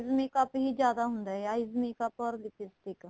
makeup ਹੀ ਜਿਆਦਾ ਹੁੰਦਾ ਏ eyes makeup or lipstick